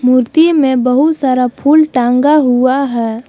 मूर्ति में बहुत सारा फुल टांगा हुआ है।